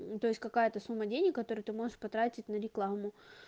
ну то есть какая-то сумма денег которую ты можешь потратить на рекламу